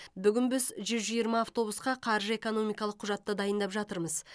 бүгін біз жүз жиырма автобусқа қаржы экономикалық құжатты дайындап жатырмыз